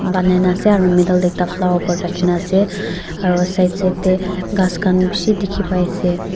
banaina ase aru middle dey ekta flower pot rakhina ase aru side side tey ghas khan bishi dikhi pai ase.